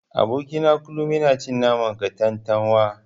Aboki na kullun yana cin naman katantanwa.